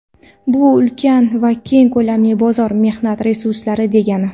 Bu ulkan va keng ko‘lamli bozor, mehnat resurslari degani.